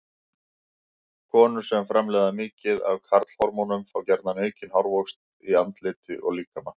Konur sem framleiða mikið af karlhormónum fá gjarna aukinn hárvöxt í andliti og á líkama.